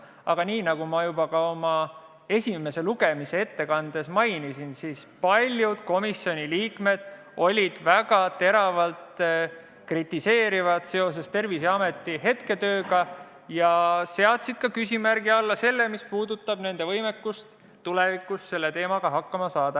Aga nii nagu ma esimesel lugemisel oma ettekandes mainisin, olid paljud komisjoni liikmed väga teravalt kritiseerivad Terviseameti praeguse töö suhtes ja seadsid küsimärgi alla selle, mis puudutab nende võimekust tulevikus selle teemaga hakkama saada.